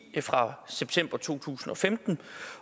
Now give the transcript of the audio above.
fra september to tusind og femten